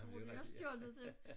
Tro de har stjålet det